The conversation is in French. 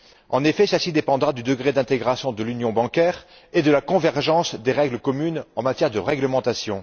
En effet, celle ci dépendra du degré d'intégration de l'union bancaire et de la convergence des règles communes en matière de réglementation.